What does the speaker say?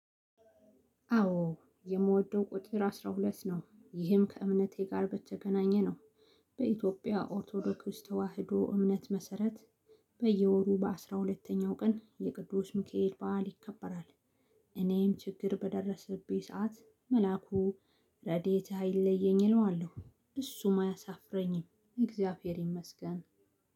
አዎ የምወደው ቁጥር አስራ ሁለት ነው ይህም ከእምነቴ ጋር በተገናኘ ነው። በኢትዮጵያ ኦርቶዶክስ ተዋህዶ እምነት መሰረት። በየወሩ በአስራ ሁለተኛው ቀን የቅዱስ ሚካኤል በዓል ይከበራል። እኔም ችግር በደረሰብኝ ሰዓት መላኩ ረዴትህአይለየኝ እለዋለሁ። እሱም አያሳፍረኝም እግዚአብሔር ይመስገን።